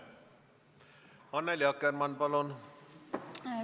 Annely Akkermann, palun!